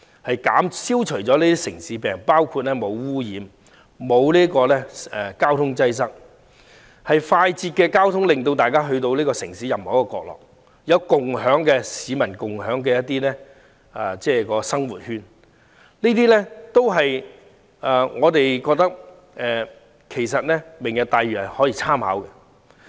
該區將消除"城市病"，既無污染，亦無交通擠塞，而且有便捷的交通直達城市任何角落，亦有市民共享的生活圈，所以我們認為可供"明日大嶼"參考。